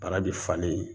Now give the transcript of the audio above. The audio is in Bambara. Bara bɛ falen